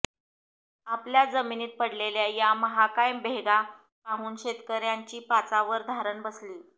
आपल्या जमिनीत पडलेल्या या महाकाय भेगा पाहून शेतकऱ्यांची पाचावर धारण बसलीय